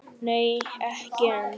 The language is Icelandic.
Nei ekki enn.